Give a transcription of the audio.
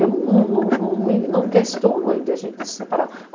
Eu não não não não não questiono ele de a gente ter se separado.